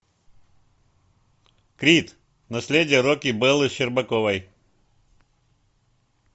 крид наследие рокки беллы щербаковой